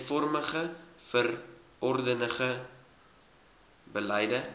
eenvormige verordenige beleide